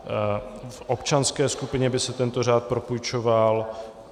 V občanské skupině by se tento řád propůjčoval